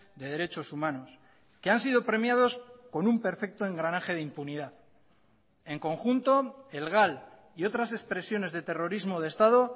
de derechos humanos que han sido premiados con un perfecto engranaje de impunidad en conjunto el gal y otras expresiones de terrorismo de estado